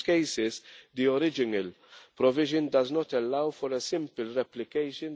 In most cases, the original provision does not allow for a simple replication.